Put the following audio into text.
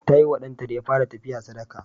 Ta yi wa ɗanta da ya fara tafiya sadaka.